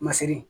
Masiri